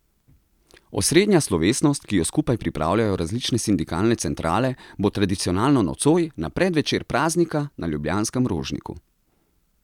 Osrednja slovesnost, ki jo skupaj pripravljajo različne sindikalne centrale, bo tradicionalno nocoj, na predvečer praznika, na ljubljanskem Rožniku.